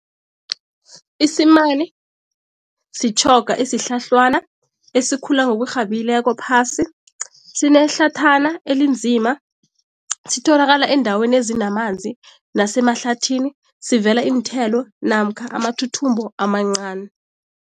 Isimani sitjhoga esihlahlwana esikhula ngokurhabileko phasi, sinehlathana elinzima, sitholakala eendaweni ezinamanzi nasemahlathini, sivela iinthelo namkha amathuthumbo amancani.